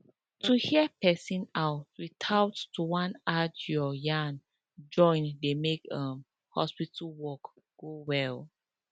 to hear person out without to wan add your yarn join dey make um hospital work go well